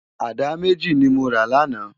Àdá méjí ni mó rá làná